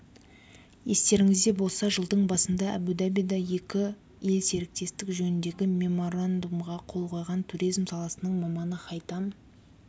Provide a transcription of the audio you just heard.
естеріңізде болса жылдың басында әбу-дабида екі ел серіктестік жөніндегі меморандумға қол қойған туризм саласының маманы хайтам